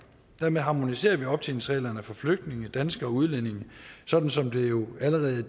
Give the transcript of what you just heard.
dermed harmoniserer vi optjeningsreglerne for flygtninge danskere og udlændinge sådan som det jo allerede i